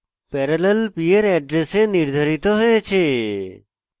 parallel p এর এড্রেসে নির্ধারিত হয়েছে